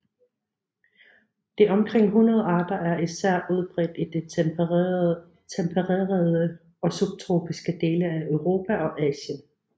De omkring 100 arter er især udbredt i de tempererede og subtropiske dele af Europa og Asien